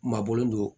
Maa bɔlen don